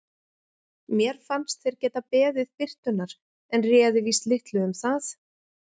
Mér fannst þeir geta beðið birtunnar en réði víst litlu um það.